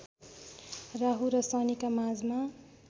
राहुु र शनिका माझमा